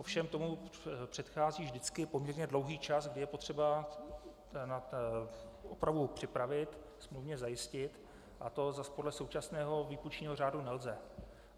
Ovšem tomu předchází vždycky poměrně dlouhý čas, kdy je potřeba opravu připravit, smluvně zajistit, a to zas podle současného výpůjčního řádu nelze.